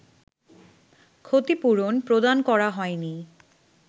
ক্ষতিপূরণ প্রদান করা হয়নি